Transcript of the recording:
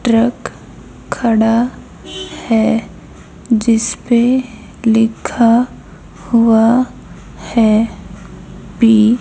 truck खड़ा है जिसपे लिखा हुआ है पी --